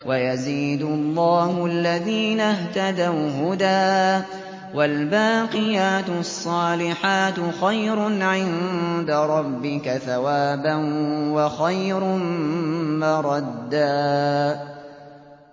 وَيَزِيدُ اللَّهُ الَّذِينَ اهْتَدَوْا هُدًى ۗ وَالْبَاقِيَاتُ الصَّالِحَاتُ خَيْرٌ عِندَ رَبِّكَ ثَوَابًا وَخَيْرٌ مَّرَدًّا